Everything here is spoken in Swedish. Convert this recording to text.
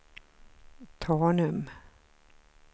Tanum